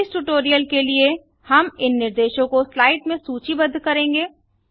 इस ट्यूटोरियल के लिए हम इन निर्देशों को स्लाइड में सूचीबद्ध करेंगे